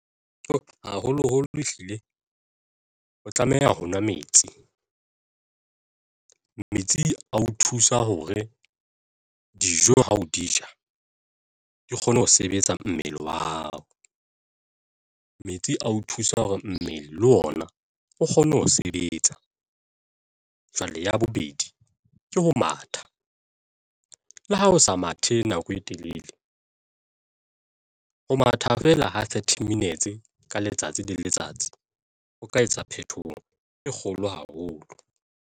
Haholoholo ehlile o tlameha ho nwa metsi. Metsi a o thusa hore dijo ha o di ja di kgone ho sebetsa mmele wa hao metsi ao thusa hore mmele le ona o kgone ho sebetsa. Jwale ya bobedi, ke ho matha le ha o sa mathe nako e telele ho matha fela ha thirty minutes ka letsatsi le letsatsi ho ka etsa phethoho e kgolo haholo.